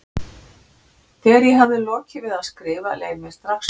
Þegar ég hafði lokið við að skrifa leið mér strax betur.